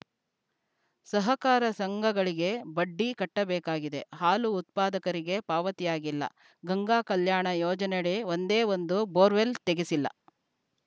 ಸಹಕಾರ ಸಂಘಗಳಿಗೆ ಬಡ್ಡಿ ಕಟ್ಟಬೇಕಾಗಿದೆ ಹಾಲು ಉತ್ಪಾದಕರಿಗೆ ಪಾವತಿಯಾಗಿಲ್ಲ ಗಂಗಾಕಲ್ಯಾಣ ಯೋಜನೆಯಡಿ ಒಂದೇ ಒಂದು ಬೋರ್‌ವೇಲ್‌ ತೆಗೆಸಿಲ್ಲ